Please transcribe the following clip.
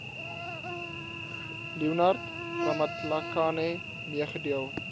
leonard ramatlakane meegedeel